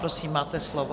Prosím, máte slovo.